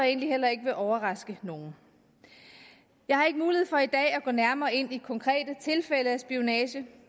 egentlig heller ikke vil overraske nogen jeg har ikke mulighed for i dag at gå nærmere ind i konkrete tilfælde af spionage